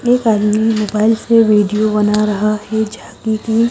एक आदमी मोबाइल पर वीडियो बना रहा है जाकी कि--